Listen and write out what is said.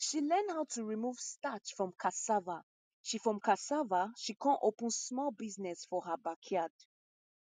she learn how to remove starch from cassava she from cassava she con open small business for her backyard